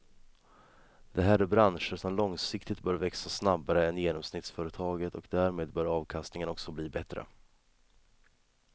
Det här är branscher som långsiktigt bör växa snabbare än genomsnittsföretaget och därmed bör avkastningen också bli bättre.